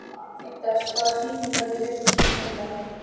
Fídes, hvaða sýningar eru í leikhúsinu á miðvikudaginn?